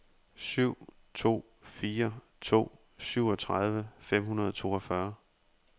syv to fire to syvogtredive fem hundrede og toogfyrre